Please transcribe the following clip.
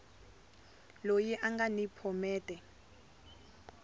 loyi a nga ni phomete